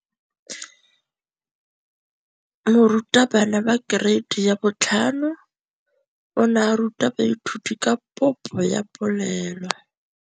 Moratabana wa kereiti ya 5 o ne a ruta baithuti ka popô ya polelô.